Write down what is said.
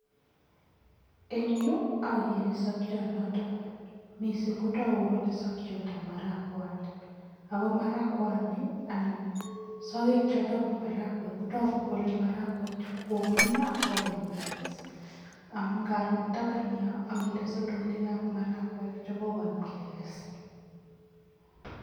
Eng yu, ageere sokiot noto mising kotoku kole sokiotab marakwat ako marakwani anan sokek choto bo marakwek kotoku kole marakwek che kokongongio ak kokoim kekes amun ngaro eng taban yo ageere sotonikab marakwek che kokoim kekes.